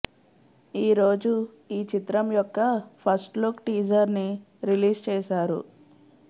ఈరోజు ఈ చిత్రం యొక్క ఫస్ట్ లుక్ టీజర్ ని రిలీజ్ చేసారు